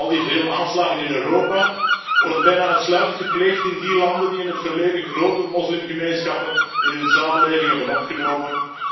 Al die vele aanslagen in Europa worden bijna uitsluitend gepleegd in die landen die in het verleden grote moslimgemeenschappen in hun samenleving hebben opgenomen.